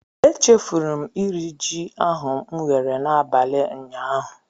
E chefuru m iri ji ahụ m ghere n'abalị ụnyaahụ.